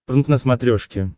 прнк на смотрешке